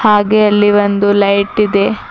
ಹಾಗೆ ಅಲ್ಲಿ ಒಂದು ಲೈಟ್ ಇದೆ.